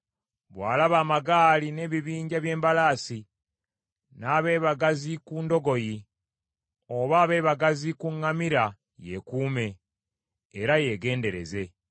Bw’alaba amagaali n’ebibinja by’embalaasi, n’abeebagazi ku ndogoyi oba abeebagazi ku ŋŋamira yeekuume, era yeegendereze.”